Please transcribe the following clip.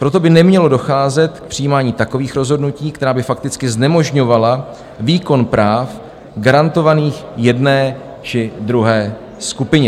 Proto by nemělo docházet k přijímání takových rozhodnutí, která by fakticky znemožňovala výkon práv garantovaných jedné či druhé skupině."